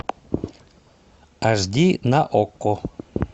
аш ди на окко